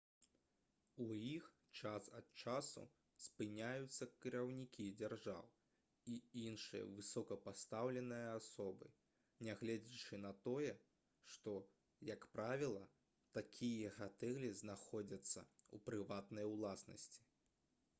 у іх час ад часу спыняюцца кіраўнікі дзяржаў і іншыя высокапастаўленыя асобы нягледзячы на тое што як правіла такія гатэлі знаходзяцца ў прыватнай уласнасці